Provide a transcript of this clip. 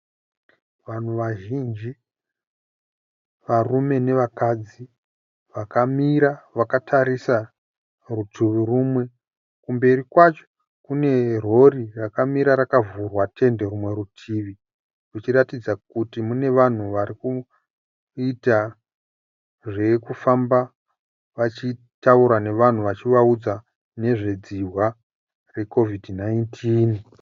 Vanhu vazhinji varume nevakadzi vakamira vakatarisa rutivi rumwe. Kumberi kwacho kune rori rakamira rakavhurwa tende rumwe rutivi muchiratidza kuti mune vanhu varikuita zvekufamba vachitaura nevanhu vachivaudza nezvedzihwa reCOVID 19.